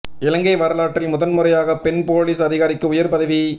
இலங்கை வரலாற்றில் முதன் முறையாக பெண் பொலிஸ் அதிகாரிக்கு உயர் பதவி